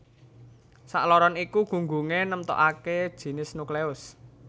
Sakloron iku gunggungé nemtokaké jinis nukleus